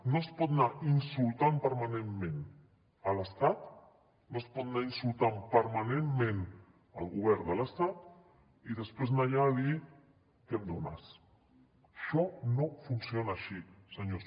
no es pot anar insultant permanentment l’estat no es pot anar insultant permanentment el govern de l’estat i després anar allà a dir què em dones això no funciona així senyors